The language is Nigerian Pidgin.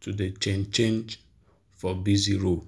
to dey change change for busy road.